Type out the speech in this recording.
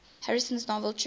harrison's novel true